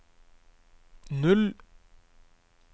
null